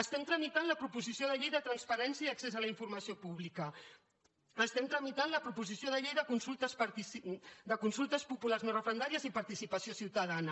estem tramitant la proposició de llei de transparència i accés a la informació pública estem tramitant la proposició de llei de consultes populars no referendàries i participació ciutadana